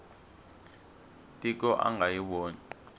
tiko a nga yi voni